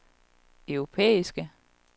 europæisk